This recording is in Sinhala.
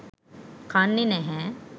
කන්නේ නැහැ.